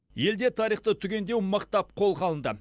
елде тарихты түгендеу мықтап қолға алынды